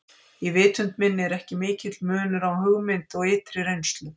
Í vitund minni er ekki mikill munur á hugmynd og ytri reynslu.